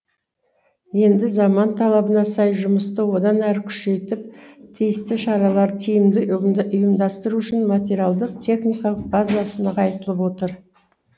енді заман талабына сай жұмысты одан әрі күшейтіп тиісті шараларды тиімді ұйымдастыру үшін материалдық техникалық базасы нығайтылып отыр